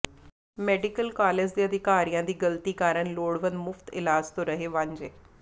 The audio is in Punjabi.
ਮੈਡੀਕਲ ਕਾਲਜ ਦੇ ਅਧਿਕਾਰੀਆਂ ਦੀ ਗ਼ਲਤੀ ਕਾਰਨ ਲੋੜਵੰਦ ਮੁਫ਼ਤ ਇਲਾਜ ਤੋਂ ਰਹੇ ਵਾਂਝੇ